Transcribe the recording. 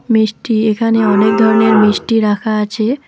মিষ্টি এখানে অনেক ধরনের মিষ্টি রাখা আছে।